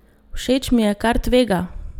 Všeč mi je, ker tvega!